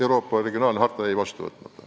Euroopa regionaalharta jäi vastu võtmata.